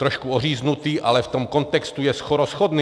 Trošku oříznutý, ale v tom kontextu je skoro shodný.